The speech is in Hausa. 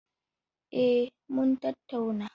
Eh mun tattauna.